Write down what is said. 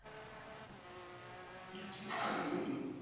আচ্ছা তাই নাকি?